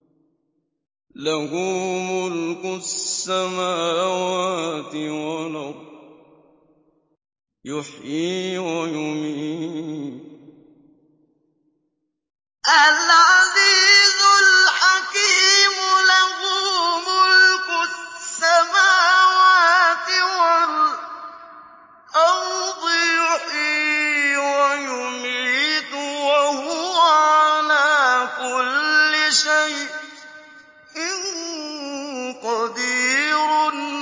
لَهُ مُلْكُ السَّمَاوَاتِ وَالْأَرْضِ ۖ يُحْيِي وَيُمِيتُ ۖ وَهُوَ عَلَىٰ كُلِّ شَيْءٍ قَدِيرٌ